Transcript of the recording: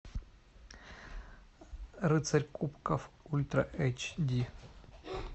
рыцарь кубков ультра эйч ди